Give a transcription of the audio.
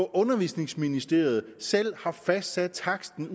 undervisningsministeriet selv har fastsat taksten